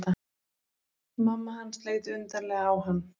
Mamma hans leit undarlega á hann.